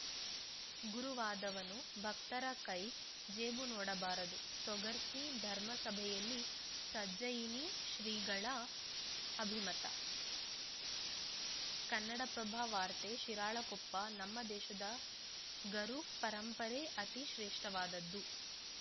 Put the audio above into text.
ಗುರುವಾದವನು ಭಕ್ತರ ಕೈ ಜೇಬು ನೋಡಬಾರದು ತೊಗರ್ಸಿ ಧರ್ಮಸಭೆಯಲ್ಲಿ ಸಜ್ಜಯಿನಿ ಶ್ರೀಗಳು ಅಭಿಮತ ಕನ್ನಡಪ್ರಭ ವಾರ್ತೆ ಶಿರಾಳಕೊಪ್ಪ ನಮ್ಮ ದೇಶದ ಗರು ಪರಂಪರೆ ಅತಿ ಶ್ರೇಷ್ಠವಾದದ್ದು